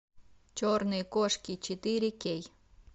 черные кошки четыре кей